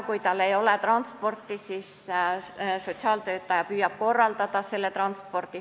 Kui tal ei ole transporti, siis sotsiaaltöötaja püüab selle korraldada.